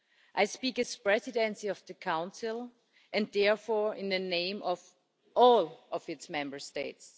I speak as Presidency of the Council and therefore in the name of all of its Member States.